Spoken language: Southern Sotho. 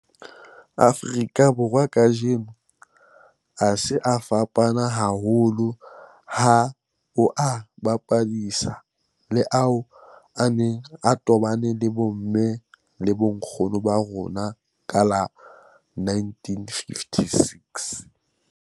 Afrika Borwa kajeno a se a fapane haholo ha o a bapisa le ao a neng a tobane le bomme le bonkgono ba rona ka 1956.